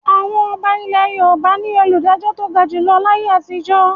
Àwọn ọba ilẹ̀ Yorùbá ni olùdájọ́ tó ga jù lọ láyé àtijọ́.